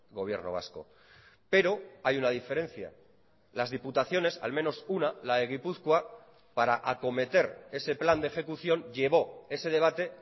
gobierno vasco pero hay una diferencia las diputaciones al menos una la de gipuzkoa para acometer ese plan de ejecución llevó ese debate